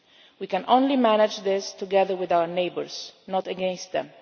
smugglers. We can only manage this together with our neighbours, not